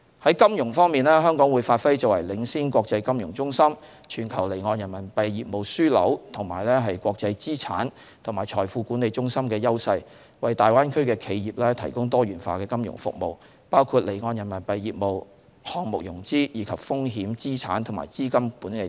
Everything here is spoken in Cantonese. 在金融方面，香港會發揮作為領先國際金融中心、全球離岸人民幣業務樞紐和國際資產及財富管理中心的優勢，為大灣區的企業提供多元化的金融服務，包括離岸人民幣業務、項目融資，以及風險、資產及資金管理等。